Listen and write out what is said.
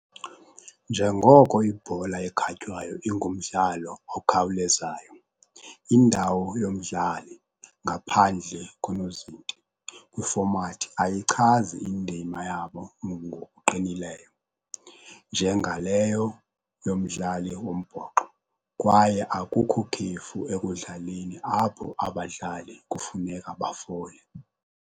Njengoko ibhola ekhatywayo ingumdlalo okhawulezayo nokhawulezayo, indawo yomdlali, ngaphandle konozinti, kwifomati ayichazi indima yabo ngokuqinileyo njengaleyo yomdlali wombhoxo, kwaye akukho khefu ekudlaleni apho abadlali kufuneka bafole.